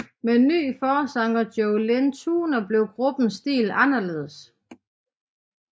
Med ny forsanger Joe Lynn Turner blev gruppens stil anderledes